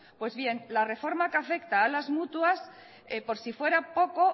pues bien la reforma que afecta a las mutuas por si fuera poco